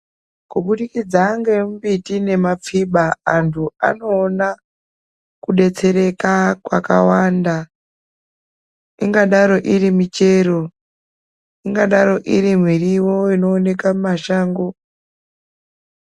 Kubudikidza ngembiti nemapfiba antu anoona kudetsereka kwakawanda ingadaro iri michero, ingadaro iri miriwo inooneka mumashango.